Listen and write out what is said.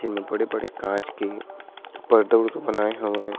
जिनमे बड़े-बड़े कांच के पर्दा वरदा बनाए हवय।